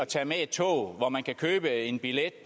tager med et tog hvor man kan købe en billet